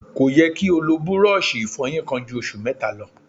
Kò yẹ kí́ o lò búrọ́ọlṣì ìfọyín kan ju oṣù mẹ́ta lọ.